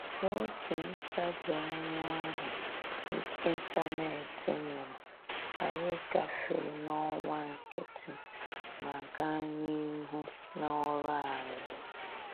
N'otu ntabianya ahụ ịntanetị nyụrụ, anyị gafee n'ọwa nkịtị ma gaa n'ihu n'ọrụ anyị